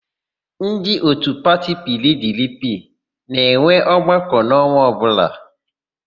Ndị òtù pati PIiDIiPIi na-enwe ọgbakọ n'ọnwa ọbụla.